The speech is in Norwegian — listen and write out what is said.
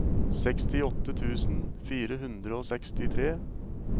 sekstiåtte tusen fire hundre og sekstitre